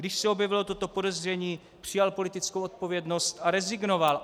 Když se objevilo toto podezření, přijal politickou odpovědnost, a rezignoval.